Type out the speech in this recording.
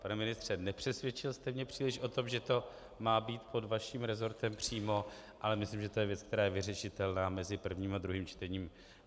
Pane ministře, nepřesvědčil jste mě příliš o tom, že to má být pod vaším resortem přímo, ale myslím, že to je věc, která je vyřešitelná mezi prvním a druhým čtením.